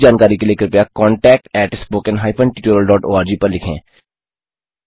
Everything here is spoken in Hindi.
अधिक जानकारी के लिए कृपया contactspoken tutorialorg पर लिखें